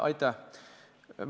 Aitäh!